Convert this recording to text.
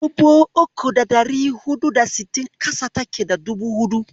Dubu uku da ɗari huɗu da sittin ƙasa take da dubu huɗu.